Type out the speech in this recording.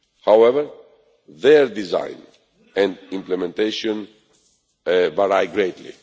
However, their design and implementation vary greatly.